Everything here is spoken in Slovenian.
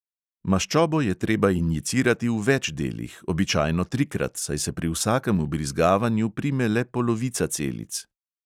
Maščobo je treba injicirati v več delih, običajno trikrat, saj se pri vsakem vbrizgavanju prime le polovica celic!